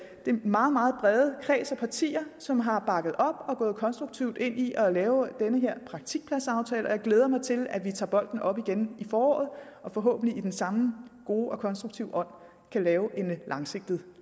den meget meget brede kreds af partier som har bakket op og er gået konstruktivt ind i at lave den her praktikpladsaftale og jeg glæder mig til at vi tager bolden op igen til foråret og forhåbentlig i den samme gode og konstruktive ånd kan lave en langsigtet